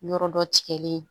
Yɔrɔ dɔ tigɛlen